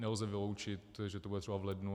Nelze vyloučit, že to bude třeba v lednu.